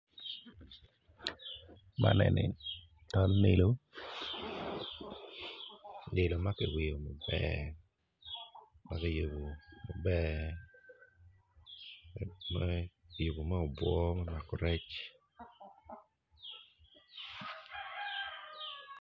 Man eni man lilo lilo maki weyo maber kiyubo maber kiyubo ma obwor mako rec.